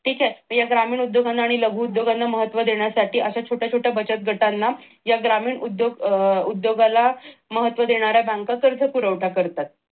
ठीक आहे तर या ग्रामीण उद्योगांना आणि लघु उद्योगांना महत्व देण्यासाठी अश्या छोट्या छोट्या बचत गटांना या ग्रामीण उद्योगांना महत्व देणाऱ्या बँका कर्ज पुरवठा करतात.